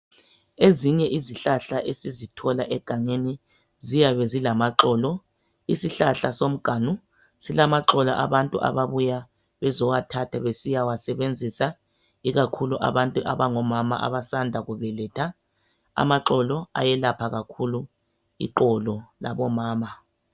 Ezinye izihlahla esizithola egangeni ziyabe zilamaxolo izihlahla somnganu silamaxolo abantu ababuya bezowathatha besiya wasebenziswa ikakhulu abantu abangomama abasanda kubeletha amaxolo ayelapha kakhulu iqolo labomama.